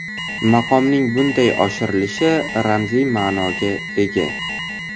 Maqomning bunday oshirilishi ramziy ma’noga ega.